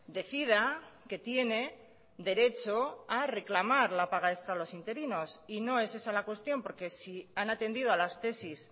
decida que tiene derecho a reclamar la paga extra a los interinos y no es esa la cuestión porque si han atendido a las tesis